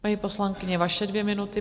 Paní poslankyně, vaše dvě minuty.